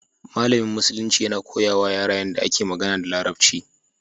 Malamin Musulunci yana koya wa yara yadda ake magana da Larabci.